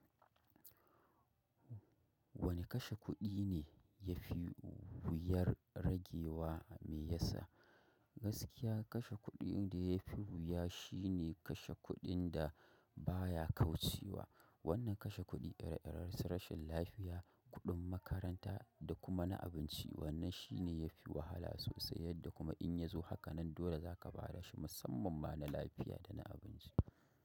Wane kashe kuɗi ne ya fi wuyar ragewa mai yinsa? Gaskiya kashe kuɗin da ya fi wuya shine kashe kuɗin da baya kaucewa. Wannan kashe kuɗi ire iren su rashin lafiya, kuɗin makaranta da kuma na abinci. Wannan shi ne ya fi wahala sosai yadda kuma in ya zo haka nan dole zaka bada shi musamman ma na lafiya da na abinci.